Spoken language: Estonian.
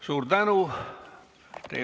Suur tänu!